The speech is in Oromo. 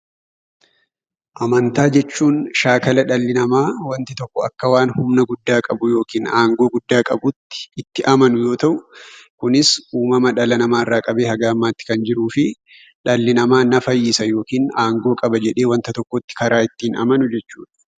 Amantaa jechuun shaakala dhalli namaa wanti tokko akka waan humna guddaa qabuu yookiin aangoo guddaa qabuutti, itti amanuu yoo ta'u, kunis uumama dhala namaa irraa qabee haga ammaatti kan jiruu fi dhalli namaa na fayyisa yookiin aangoo qaba jedhee wanta tokkotti karaa ittiin amanu jechuudha.